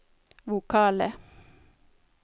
vokale